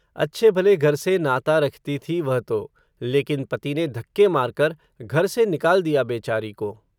अच्छे भले घर से नाता रखती थी वह तो, लेकिन पति ने धक्के मार कर, घर से निकाल दिया बेचारी को